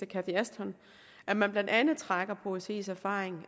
cathy ashton at man blandt andet trækker på osce’s erfaring